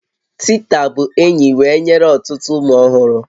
Tita bụ enyi wee nyere ọtụtụ ụmụ ọhụrụ